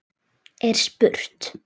er spurt.